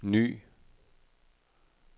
ny